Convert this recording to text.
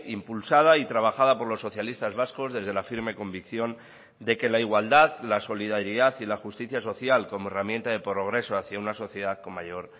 impulsada y trabajada por los socialistas vascos desde la firme convicción de que la igualdad la solidaridad y la justicia social como herramienta de progreso hacia una sociedad con mayor